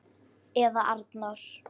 Eða Arnór!